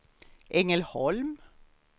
Ängelholm